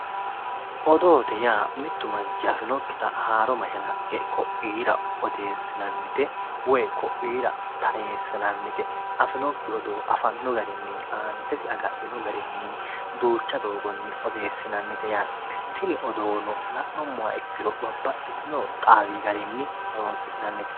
Odoote yaa mitu manchi afinokkitta haaro mashalaqqe ku"u koira odeesinannite woyi ku"u koira taresinannite afinokki odoo afano garinni antesi agadhino garinni duucha doogoni odeesinannite yaate, tini odoono la'nuummoha ikkiro babbaxitino xaawi garinni horonsi'nannite.